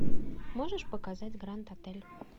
можешь показать гранд отель